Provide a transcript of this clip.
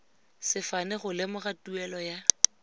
sefane go lemoga tuelo ya